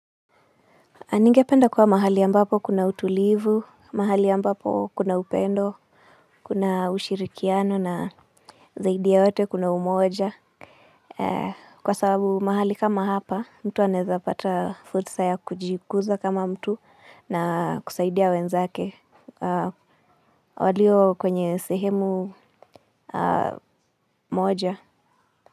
A ningependa kuwa mahali ambapo kuna utulivu, mahali ambapo kuna upendo, kuna ushirikiano na zaidi ya wote kuna umoja. Kwa sababu mahali kama hapa, mtu anaeza pata fursa ya kujikuza kama mtu na kusaidia wenzake. Walio kwenye sehemu moja.